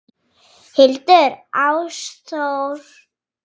Hildur Ástþór.